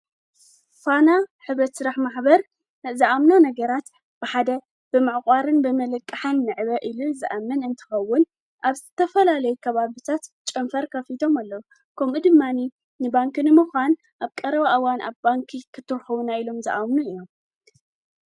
ፋና ሕብረት ስራሕ ማኅበር ዝኣምና ነገራት ብሓደ ብማዕቋርን ብመለቅሓን ንዕበ ኢሉ ዝኣምን እንትኸውን ኣብ ዘተፈላለይ ከባብታት ጨምፈር ከፊቶም ኣሎ ከምኡድማኒ ንባንኪ ንምዃን ኣብ ቀረው ኣዋን ኣብ ባንኪ ክትርኅዉና ኢሎም ዝኣምኑ እዮም።